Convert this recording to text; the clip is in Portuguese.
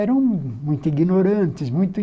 Eram muito ignorantes. Muito